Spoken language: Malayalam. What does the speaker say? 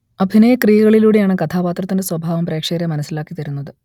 അഭിനയ ക്രിയകളിലൂടെയാണ് കഥാപാത്രത്തിന്റെ സ്വഭാവം പ്രേക്ഷകരെ മനസ്സിലാക്കിതരുന്നത്